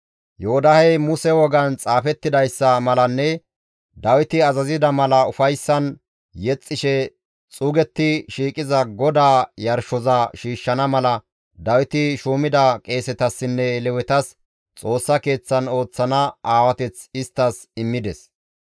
Yoodahey Muse wogan xaafettidayssa malanne Dawiti azazida mala ufayssan yexxishe xuugetti shiiqiza GODAA yarshoza shiishshana mala Dawiti shuumida qeesetassinne Lewetas Xoossa Keeththan ooththana aawateth isttas immides.